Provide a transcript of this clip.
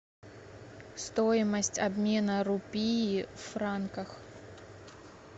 стоимость обмена рупий в франках